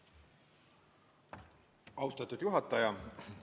Austatud juhataja!